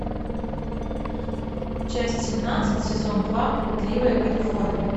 часть семнадцать сезон два блудливая калифорния